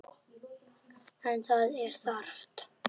En það er þarft.